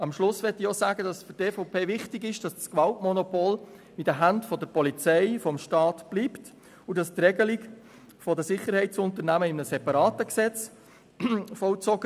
Zum Schluss möchte ich betonen, dass es für die EVP wichtig ist, dass das Gewaltmonopol in den Händen der Polizei und des Staats bleibt und dass die Regelung der Sicherheitsunternehmungen in einem separaten Gesetz erfolgt.